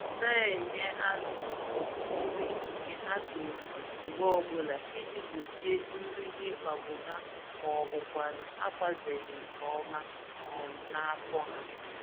Na-enye azụ um nri nke ha toruru mgbè ọbụla iji gbochie nri ịkpagbu ha, mọbụkwanụ̀ agbazeghị nke ọma um n'afọ ha.